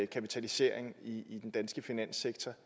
kapitalisering i den danske finanssektor